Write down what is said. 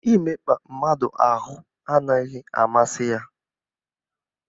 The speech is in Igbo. Imekpa mmadụ ahụ anaghị amasị ya.